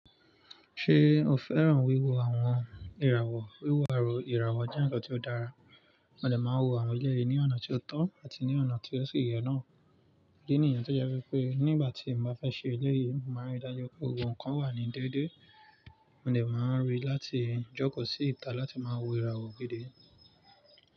Ṣé o fẹ́ràn wíwo àwọn ìràwọ̀? Wíwo àrò ìràwọ̀ jẹ́ ǹnkan tó dára. Mo dè máa n wo àwọn eléyìí ní ọ̀nà tí ó tọ́ àti ní ọ̀nà tí ó sì yẹ náà. Idi niyen tó jẹ́ wipé nígbà tí m bá fẹ́ ṣe eléyìí, mo màá n ríi dájú pé gbogbo nnkan wà ní déédé. Mo dè máa ń rí i láti jókòó sí ìta láti máa wo ìràwọ̀ gidi.